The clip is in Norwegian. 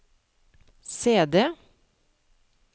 CD